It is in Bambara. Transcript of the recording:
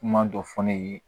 Kuma dɔ fɔ ne ye